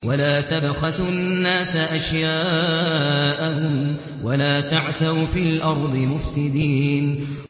وَلَا تَبْخَسُوا النَّاسَ أَشْيَاءَهُمْ وَلَا تَعْثَوْا فِي الْأَرْضِ مُفْسِدِينَ